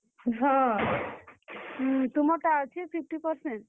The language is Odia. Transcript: ହଁ, ତୁମର ଟା ଅଛେ fifty percentage ।